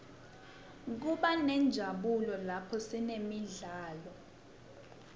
kubanenjabulo laphosinemidlalo